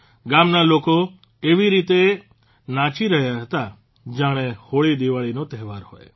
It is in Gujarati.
ગામના લોકો એવી રીતે નાચી રહ્યા હતા જાણે હોળી દિવાળીનો તહેવાર હોય